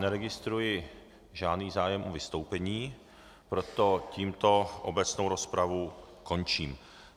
Neregistruji žádný zájem o vystoupení, proto tímto obecnou rozpravu končím.